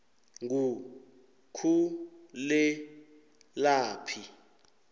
ngukhulelaphi